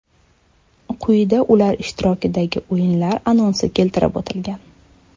Quyida ular ishtirokidagi o‘yinlar anonsi keltirib o‘tilgan.